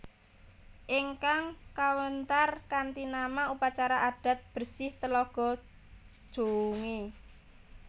Ingkang kawéntar kanthi nama Upacara adat bersih Telaga Jongé